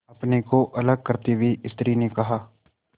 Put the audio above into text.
अपने को अलग करते हुए स्त्री ने कहा